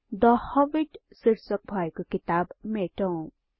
थे Hobbit शिर्षक भएको किताब मेटौं 3